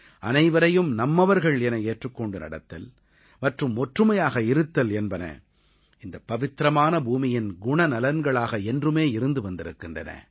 அனைவரையும் நம்மவர்கள் என ஏற்றுக் கொண்டு நடத்தல் மற்றும் ஒற்றுமையாக இருத்தல் என்பன இந்த பவித்திரமான பூமியின் குணநலன்களாக என்றுமே இருந்து வந்திருக்கின்றன